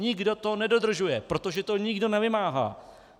Nikdo to nedodržuje, protože to nikdo nevymáhá.